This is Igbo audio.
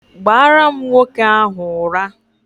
Gbara m nwoke ahu ura!